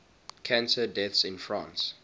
cancer deaths in france